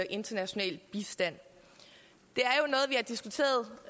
international bistand det